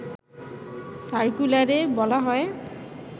সার্কুলারে বলা হয়